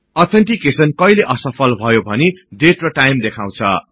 authentication कहिले असफल भयो भनि डेट र टाइम देखाउछ